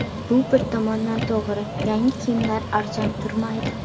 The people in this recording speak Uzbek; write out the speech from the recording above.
Bu bir tomondan to‘g‘ri, yangi kiyimlar arzon turmaydi.